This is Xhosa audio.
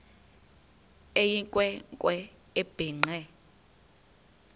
eyinkwe nkwe ebhinqe